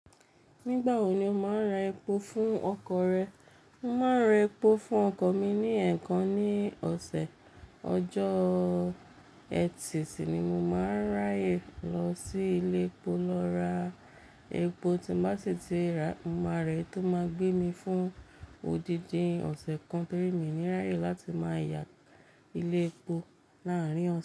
Nígbà wo ni o máa ń ra epo fún ọkọ̀ rẹ? Mo máa ń ra epo fún ọkọ̀ mi ní ẹ̀ẹ̀kan ní ọ̀sẹ̀. Ọjọ́ ẹtì si ni mo máa ń ráyè lọ sí ilé epo lọ ra epo tí n bá sì ti rà á, mo máa ra èyí tó máa gbé mi fún odidi ọ̀sẹ̀ kan torí mi ní ráyè láti máa yà ilé epo láàárín ọ̀sẹ̀